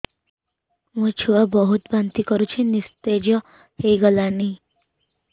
ମୋ ଛୁଆ ବହୁତ୍ ବାନ୍ତି କରୁଛି ନିସ୍ତେଜ ହେଇ ଗଲାନି